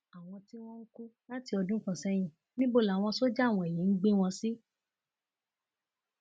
àwọn tí wọn ń kú láti ọdún kan sẹyìn níbo làwọn sójà wọnyí ń gbé wọn sí